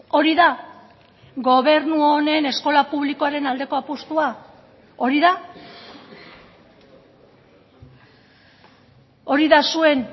hori da gobernu honen eskola publikoaren aldeko apustua hori da hori da zuen